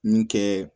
Min kɛ